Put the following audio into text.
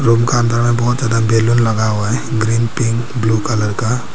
उनका अंदर में बहोत ज्यादा बैलून लगा हुआ है ग्रीन पिंक ब्लू कलर का।